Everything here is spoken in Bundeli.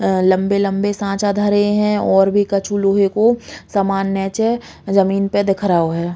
आ लम्बे लम्बे सच्चा धरे हैं और भी कछु लोहे को सामान नयीचे जमीन पे दिख रओ है।